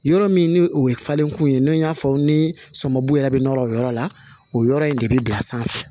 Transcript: Yɔrɔ min ni o ye falenkun ye n'o y'a fɔ ni sɔmi b'u yɛrɛ bɛ nɔnɔ o yɔrɔ la o yɔrɔ in de bɛ bila sanfɛ